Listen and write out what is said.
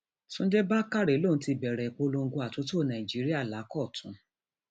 túnde bákárẹ lòún ti bẹrẹ ìpolongo àtúntò nàìjíríà lákọtun